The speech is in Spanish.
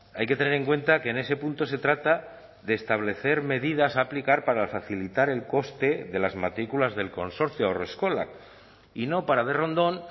hay que tener en cuenta que en ese punto se trata de establecer medidas a aplicar para facilitar el coste de las matrículas del consorcio haurreskolak y no para de rondón